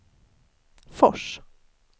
Fors